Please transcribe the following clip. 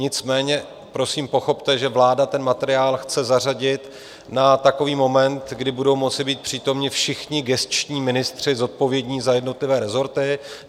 Nicméně prosím pochopte, že vláda ten materiál chce zařadit na takový moment, kdy budou moci být přítomni všichni gesční ministři zodpovědní za jednotlivé rezorty.